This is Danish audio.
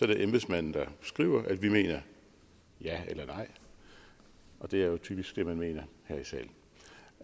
det embedsmanden der skriver at vi mener ja eller nej og det er jo typisk det man mener